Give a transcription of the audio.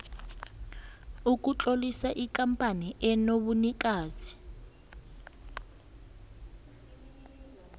ukutlolisa ikampani enobunikazi